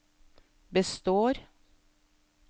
består